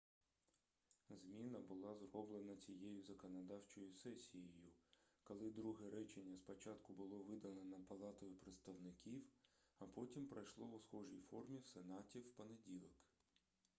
зміна була зроблена цією законодавчою сесією коли друге речення спочатку було видалено палатою представників а потім пройшло у схожій формі в сенаті в понеділок